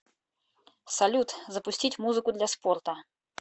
салют запустить музыку для спорта